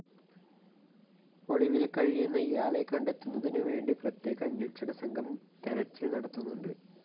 ഒളിവില്‍ കഴിയുന്ന ഇയാളെ കണ്ടെത്തുന്നതിനുവേണ്ടി പ്രത്യേക അന്വേഷണസംഘം തെരച്ചില്‍ നടത്തുന്നുണ്ട്‌